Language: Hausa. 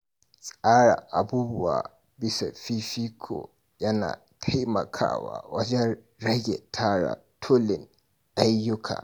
Tsara abubuwa bisa fifiko yana taimakawa wajen rage tara tulin ayyuka.